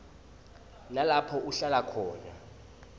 nalapho uhlala khona